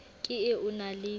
ke e o na le